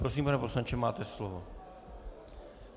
Prosím, pane poslanče, máte slovo.